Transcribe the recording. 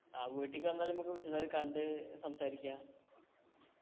ആ വീട്ടിക്ക് വന്നാല് നമ്മക്ക് വിശദായി കണ്ട് സംസാരിക്ക